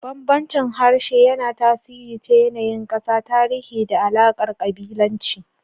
Bambancin harshe yana tasiri ta yanayin ƙasa, tarihi, da alaƙar kabilanci.